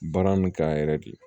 Baara nin kan yɛrɛ de